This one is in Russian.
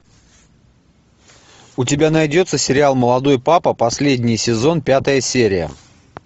у тебя найдется сериал молодой папа последний сезон пятая серия